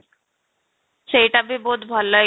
ସେଇଟା ବି ବହୁତ ଭଲ ଏକ୍ସ